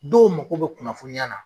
Dɔw mako bɛ kunnafoniya na